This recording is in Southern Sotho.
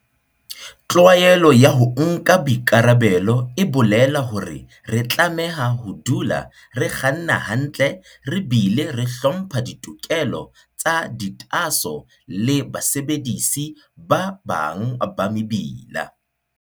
Tlwaelo ya ho nka boikarabelo e bolela hore re tlameha ho dula re kganna hantle re bile re hlompha ditokelo tsa ditaaso le basebedisi ba bang ba mebila.